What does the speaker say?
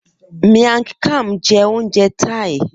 Miang Kham jẹ́ oúnjẹ Thai